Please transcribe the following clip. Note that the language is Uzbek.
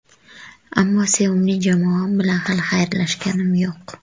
Ammo sevimli jamoam bilan hali xayrlashganim yo‘q.